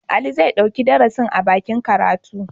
Ali zai ɗauki darasin a dakin karatu.